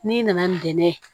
N'i nana nɛn ye